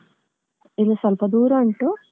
ಇದು ಸ್ವಲ್ಪ ದೂರ ಉಂಟು.